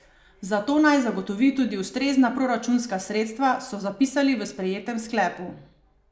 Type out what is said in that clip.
Za to naj zagotovi tudi ustrezna proračunska sredstva, so zapisali v sprejetem sklepu.